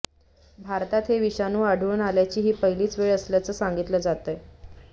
भारतात हे विषाणू आढळून आल्याची ही पहिलीच वेळ असल्याचं सांगितलं जातंय